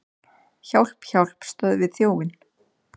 Hjálp, hjálp, stöðvið þjófinn!